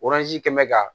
kɛmɛ ka